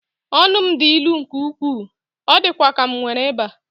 Ọnụ m dị ilu nke ukwuu, ọ dịkwa ka m nwere ịba.